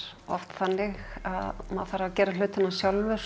oft þannig að maður þarf að gera hlutina sjálfur